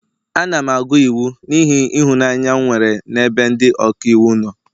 Ana m agụ iwu n'ihi ịhụnanya m nwere n'ebe ndị ọka iwu nọ